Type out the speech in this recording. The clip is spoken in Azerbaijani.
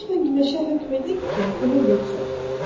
Lütfən günəşə hökm edin ki, qürub etsin.